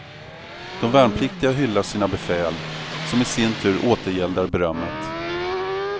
De värnpliktiga hyllar sina befäl, som i sin tur återgäldar berömmet.